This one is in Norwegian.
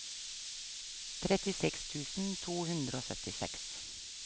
trettiseks tusen to hundre og syttiseks